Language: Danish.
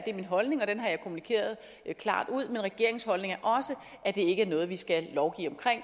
er min holdning og den har jeg kommunikeret klart ud men regeringens holdning er også at det ikke er noget vi skal lovgive om